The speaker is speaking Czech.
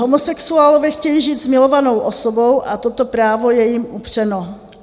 Homosexuálové chtějí žít s milovanou osobou a toto právo je jim upřeno.